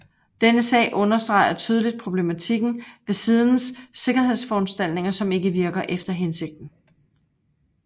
Denne sag understreger tydeligt problematikken ved sidens sikkerhedsforanstaltninger som ikke virker efter hensigten